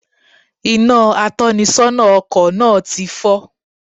Inà atónisónà ọkò náà ti fó